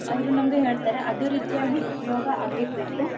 ಅವ್ರ ನಮ್ಗ ಹೇಳ್ತಾರ ಅದೇ ರೀತಿಯಾಗಿ ಉಪ್ಯೋಗ ಅಗಿರ್ಬೇಕ್.